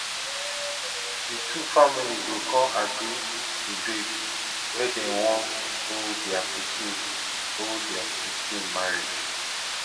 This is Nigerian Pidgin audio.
di two family go con agree to date wey dem wan hold dia pikin hold dia pikin marriage